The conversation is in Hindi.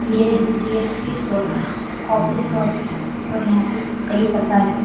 ये डी.एस.पी. सोडा कॉफी शॉप है और यहाँ पे कई प्रकार के--